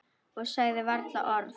Og sagði varla orð.